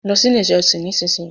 mọ ló sì ilé ìjósìn! nísìsiyìí.